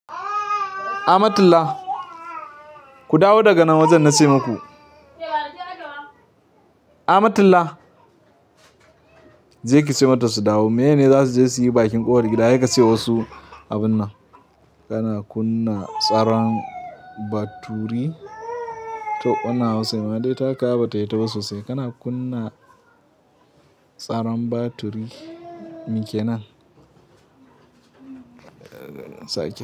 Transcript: Amatullah ku dawo daga nan wajen na ce maku. Amatullah! Je ki ce mata su dawo. Miyene zasuje suyi baqin kofar gida sekace wasu abun nan. Kana kunna tsaron baturi to wannan Hausa, ma dai taka ba hita ba sosai. Kana kunna tsaron baturi. Mi ke nan? Saki.